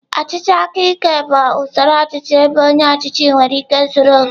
Ọchịchị aka ike bụ usoro ọchịchị ebe onye ọchịchị nwere ike zuru oke.